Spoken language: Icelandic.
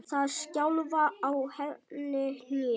Það skjálfa á henni hnén.